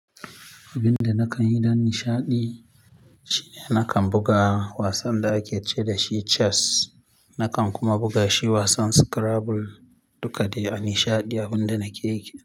Abin da nakan yi don nishaɗi shine nakan buga wasan da ake ce dashi chess. Nakan kuma buga shi wasan scrabble duka dai anishaɗi abin da nake yi.